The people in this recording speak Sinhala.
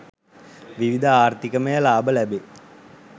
විවිධ ආර්ථිකමය ලාභ ලැබේ.